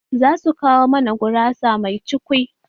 Za su kawo mana gurasa mai cukwi